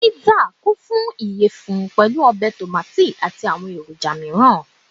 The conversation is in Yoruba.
Pizza consisits ti a iyẹfun topped pẹlu tomati obe ati awọn miiran eroja